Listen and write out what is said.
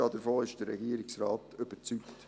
Davon ist der Regierungsrat überzeugt.